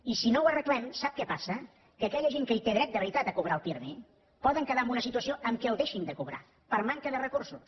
i si no ho arreglem sap què passa que aquella gent que té dret de veritat a cobrar el pirmi poden quedar en una situació en què el deixin de cobrar per manca de recursos